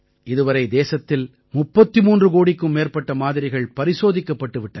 இதுவரை தேசத்தில் 33 கோடிக்கும் மேற்பட்ட மாதிரிகள் பரிசோதிக்கப்பட்டு விட்டன